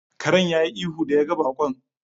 Karen ya yi ihu da yawa ga baƙon.